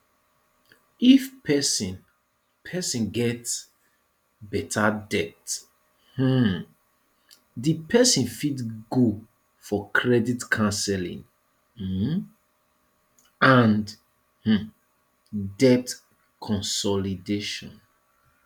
if person person get better debt um di person fit go for credit councelling um and um debt consolidation